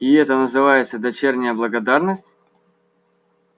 и это называется дочерняя благодарность